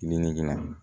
Nin negili la